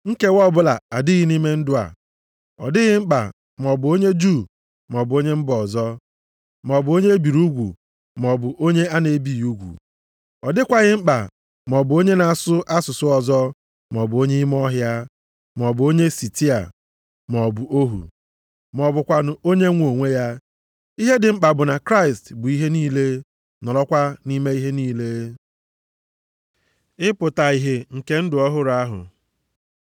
Nkewa ọbụla adịghị nʼime ndụ a. Ọ dịghị mkpa maọbụ onye Juu maọbụ onye mba ọzọ, maọbụ onye e biri ugwu, maọbụ onye a na-ebighị ugwu. Ọ dịkwaghị mkpa maọbụ onye na-asụ asụsụ ọzọ, ma ọ bu onye ime ọhịa, maọbụ onye Sitia, maọbụ ohu, ma ọ bụkwanụ onye nwe onwe ya. Ihe dị mkpa bụ na Kraịst bụ ihe niile, nọrọkwa nʼime ihe niile. Ịpụta ihe nke ndụ ọhụrụ ahụ